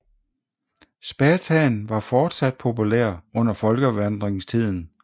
Spathaen var fortsat populær under folkevandringstiden